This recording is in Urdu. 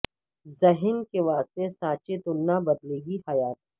ذہن کے واسطے سانچے تو نہ بدلے گی حیات